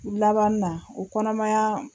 Laban na o kɔnɔmayaa